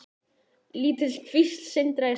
Lítil kvísl sindraði í sólinni.